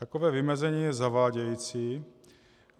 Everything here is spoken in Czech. Takové vymezení je zavádějící.